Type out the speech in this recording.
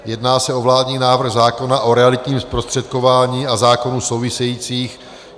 Jedná se o vládní návrh zákona o realitním zprostředkování a zákonů souvisejících.